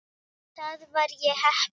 Þar var ég heppinn